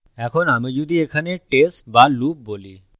এখন আমি যদি এখানে test বা loop বলি